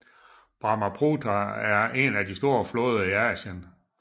Brahmaputra er en af de store floder i Asien